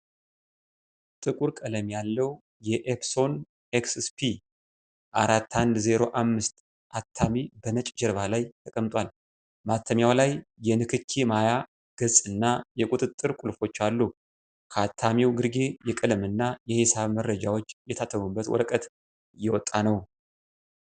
ጥቁር ቀለም ያለው የ "ኤፕሶን ኤክስፒ-4105" አታሚ በነጭ ጀርባ ላይ ተቀምጧል። ማተሚያው ላይ የንክኪ ማያ ገጽ እና የቁጥጥር ቁልፎች አሉ። ከአታሚው ግርጌ የቀለምና የሒሳብ መረጃዎች የታተሙበት ወረቀት እየወጣ ነው።